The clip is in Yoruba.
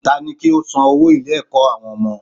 Tani kí ó san owó ilé ẹ̀kọ́ àwọn ọmọ